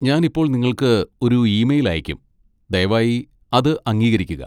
ഞാൻ ഇപ്പോൾ നിങ്ങൾക്ക് ഒരു ഇമെയിൽ അയയ്ക്കും. ദയവായി അത് അംഗീകരിക്കുക.